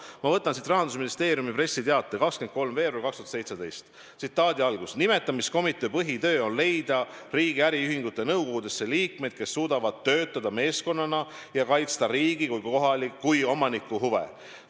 Ma võtan Rahandusministeeriumi pressiteate 23. veebruarist 2017: "Nimetamiskomitee põhitöö on leida riigi äriühingute nõukogudesse liikmed, kes suudavad töötada meeskonnana ja kaitsta riigi kui omaniku huve.